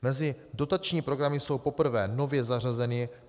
Mezi dotační programy jsou poprvé nově zařazeny: